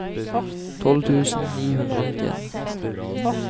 tolv tusen ni hundre og nittien